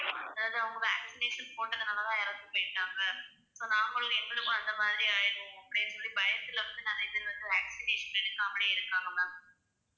அதாவது அவங்க vaccination போட்டதுனாலதான் இறந்து போயிட்டாங்க so நாமளும் எங்களுக்கும் அந்த மாதிரி ஆயிடும் அப்படின்னு சொல்லிப் பயத்துல வந்து நிறைய பேர் வந்து vaccination எடுக்காமலே இருக்காங்க ma'am.